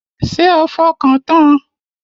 Ṣé o fọkàn tan an?